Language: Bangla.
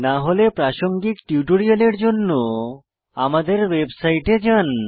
না হলে প্রাসঙ্গিক টিউটোরিয়ালের জন্য আমাদের ওয়েবসাইটে যান